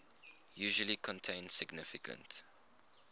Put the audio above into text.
usually contain significant